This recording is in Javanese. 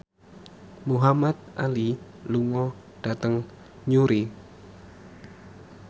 Muhamad Ali lunga dhateng Newry